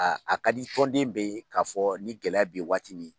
Aa a ka di tɔnden bɛɛ lajɛle ye k'a fɔ ni gɛlɛya bɛ yen waati min